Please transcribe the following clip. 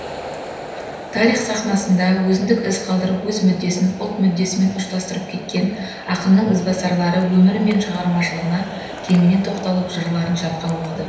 тарих сахнасында өзіндік із қалдырып өз мүддесін ұлт мүддесімен ұштастырып кеткен ақынның ізбасарлары өмірі мен шығармашылығына кеңінен тоқталып жырларын жатқа оқыды